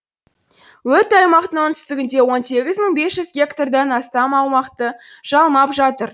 өрт аймақтың оңтүстігінде он сегіз мың бес жүз гектардан астам аумақты жалмап жатыр